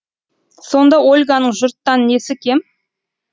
сонда ольганың жұрттан несі кем